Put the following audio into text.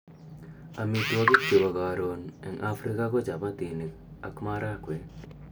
Amitwogik chebo karon eng afrika ko chapatinik ak marakwek